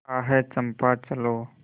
आह चंपा चलो